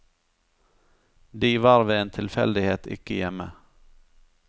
De var ved en tilfeldighet ikke hjemme.